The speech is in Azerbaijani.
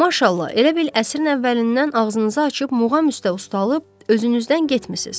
Maşallah, elə bil əsrin əvvəlindən ağzınızı açıb muğam üstə ustalıb gözünüzdən getmisiz.